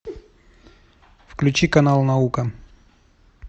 включи канал наука